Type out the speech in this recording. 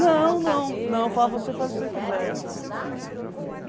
Não, não, não, falavam, você faz o que você quiser, meu filho, assim.